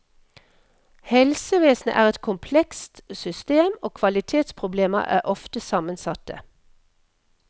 Helsevesenet er et komplekst system, og kvalitetsproblemer er ofte sammensatte.